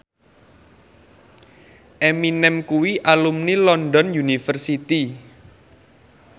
Eminem kuwi alumni London University